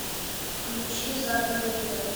включи задом наперед